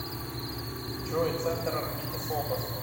джой центр орбиты фобос